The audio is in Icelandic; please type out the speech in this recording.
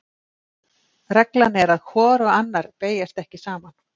Reglan er að hvor og annar beygjast ekki saman.